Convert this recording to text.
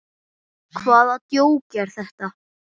Hvaða djók er þetta?